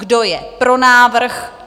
Kdo je pro návrh?